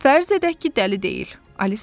Fərz edək ki, dəli deyil.